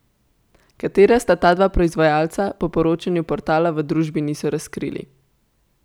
Katera sta ta dva proizvajalca, po poročanju portala v družbi niso razkrili.